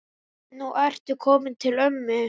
Nú ertu kominn til ömmu.